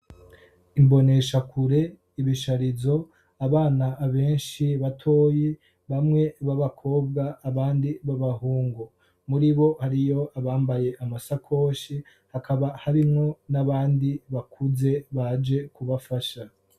Imboneshakure, ibisharizo abana benshi batoyi, bamwe b'abakobwa abandi b'abahungu. Muri bo hariyo abambaye amasakoshi, hakaba habimwo n'abandi bakuze baje kubafasha.